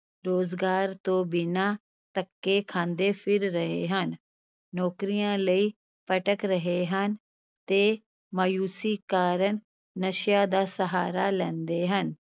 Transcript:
ਰੁਜ਼ਗਾਰ ਤੋਂ ਬਿਨਾਂ ਧੱਕੇ ਖਾਂਦੇ ਫਿਰ ਰਹੇ ਹਨ, ਨੌਕਰੀਆਂ ਲਈ ਭਟਕ ਰਹੇ ਹਨ ਤੇ ਮਾਯੂਸੀ ਕਾਰਨ ਨਸ਼ਿਆਂ ਦਾ ਸਹਾਰਾ ਲੈਂਦੇ ਹਨ।